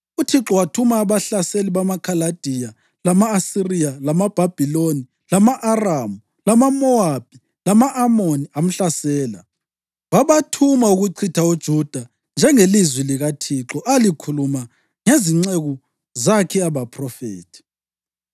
UThixo wathuma abahlaseli bamaKhaladiya lama-Asiriya lamaBhabhiloni lama-Aramu lamaMowabi, lama-Amoni, amhlasela. Wabathuma ukuchitha uJuda njengelizwi likaThixo alikhuluma ngezinceku zakhe abaphrofethi.